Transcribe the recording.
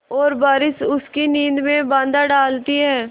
और बारिश उसकी नींद में बाधा डालती है